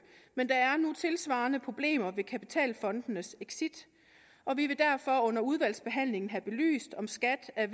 men der er nogle tilsvarende problemer ved kapitalfondenes exit og vi vil derfor under udvalgsbehandlingen have belyst om skat er